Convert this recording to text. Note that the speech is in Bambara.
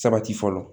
Sabati fɔlɔ